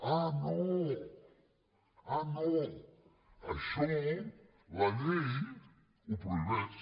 ah no ah no això la llei ho prohibeix